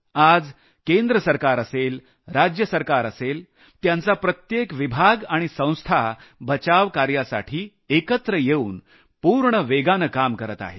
आज केंद्र सरकार असेल राज्य सरकार असेल त्यांचा प्रत्येक विभाग आणि संस्था बचावकार्यासाठी एकत्र येऊन पूर्ण वेगानं काम करत आहेत